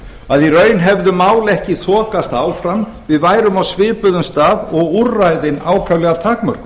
að í raun hefðu mál ekki þokast áfram við værum á svipuðum stað og úrræðin ákaflega takmörkuð